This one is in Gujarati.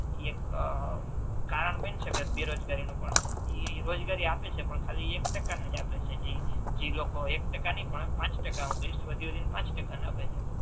કે એક કારણ બની શકે બેરોજગારી નુ પણ એ ઇ રોજગારી આપે છે પણ એ ખાલી એક ટકા ને જ આપે છે જે લોકો એક ટકા નહિ પણ પાંચ ટકા હુ વધી વધી ને પાંચ ટકા ને આપે છે